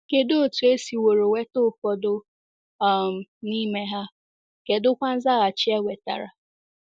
Kedụ otú e siworo nweta ụfọdụ um n’ime ha, kedụkwa nzaghachi e nwetara?